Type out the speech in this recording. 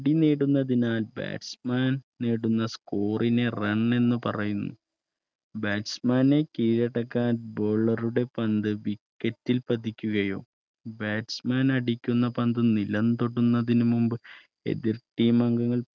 നേടുന്ന സ്കൂളിനെ Run എന്ന് പറയുന്നു Batchman നെ കീഴടക്കാൻ Bowler ടെ പന്ത് വിക്കറ്റിൽ പതിക്കുകയും Batchman ൻ അടിക്കുന്ന പന്ത് നിറം തൊടുന്നതിന് മുമ്പ് എതിർ Team അംഗങ്ങൾ